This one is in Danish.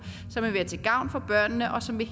som vil